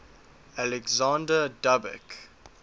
alexander dub ek